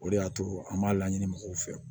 O de y'a to an m'a laɲini mɔgɔw fɛ